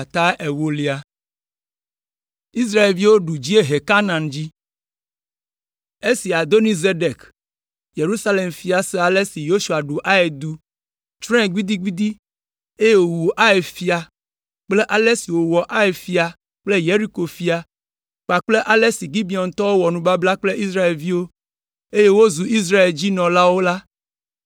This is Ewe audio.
Esi Adoni Zedek, Yerusalem fia se ale si Yosua xɔ Ai du, tsrɔ̃e gbidigbidi, eye wòwu Ai fia kple ale si wòwɔ Ai fia kple Yeriko fia kpakple ale si Gibeontɔwo wɔ nubabla kple Israelviwo, eye wozu Israel dzi nɔlawo la,